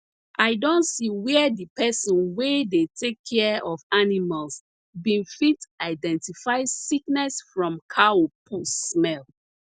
i don see where di person wey dey take care of animals bin fit identify sickness from cow poo smell